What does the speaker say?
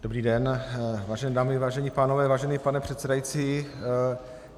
Dobrý den, vážené dámy, vážení pánové, vážený pane předsedající.